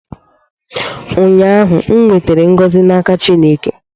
ụnyaahụ, m nwetara ngọzị n'aka Chineke